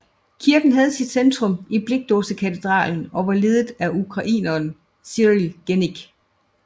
Kirken havde sit centrum i Blikdåsekatedralen og var ledet af ukraineren Cyril Genik